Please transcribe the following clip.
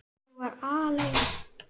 Ég var alein.